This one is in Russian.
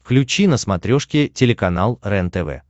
включи на смотрешке телеканал рентв